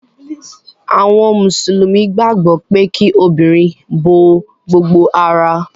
Àwọn mùsùlùmí gbàgbó pe kí obìrin bó gbogbo àrà